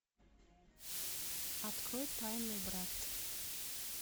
открой тайный брат